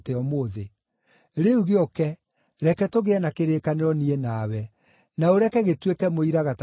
Rĩu gĩũke, reke tũgĩe na kĩrĩkanĩro niĩ nawe, na ũreke gĩtuĩke mũira gatagatĩ gaitũ.”